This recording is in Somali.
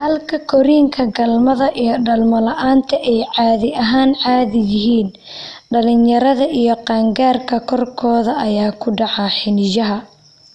Halka korriinka galmada iyo dhalmo la'aanta ay caadi ahaan caadi yihiin, dhalinyarada iyo qaan-gaarka qaarkood ayaa ku dhaca xiniinyaha.